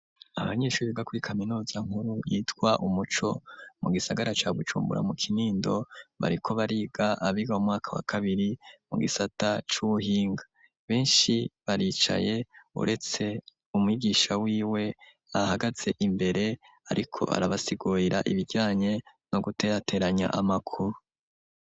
Abanyeshuri biga kuri kaminuza nkuru yitwa umuco mu gisagara ca Bujumbura mu kinindo bariko bariga abiga umwaka wa kabiri mu gisata c'ubuhinga, benshi baricaye uretse umigisha wiwe ahagaze imbere ariko arabasigurira ibijanye no guterateranya amakuru.